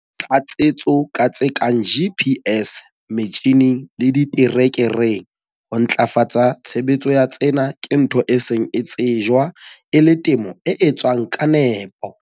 Tlatsetso ka tse kang GPS metjhineng le diterekereng ho ntlafatsa tshebetso ya tsena ke ntho e seng e tsejwa e le temo e etswang ka nepo.